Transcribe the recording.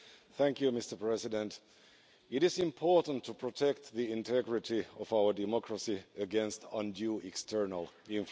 Mr President, it is important to protect the integrity of our democracy against undue external influence.